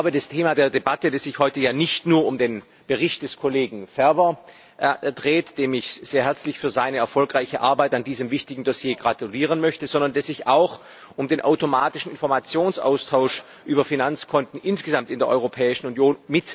Das Thema der Debatte dreht sich heute ja nicht nur um den Bericht des Kollegen Ferber, dem ich sehr herzlich zu seiner erfolgreichen Arbeit an diesem wichtigen Dossier gratulieren möchte, sondern es geht auch um den automatischen Informationsaustausch mit Drittstaaten über Finanzkonten insgesamt in der Europäischen Union.